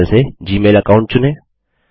बाएँ पैनल से Gmail account चुनें